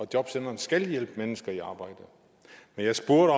jobcentrene skal hjælpe mennesker i arbejde men jeg spurgte